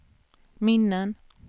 minnen